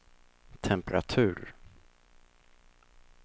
temperatur